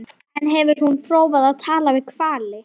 En hefur hún prófað að tala við hvali?